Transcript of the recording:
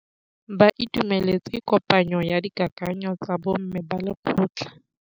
Ba itumeletse kôpanyo ya dikakanyô tsa bo mme ba lekgotla.